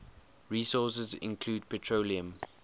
resources include petroleum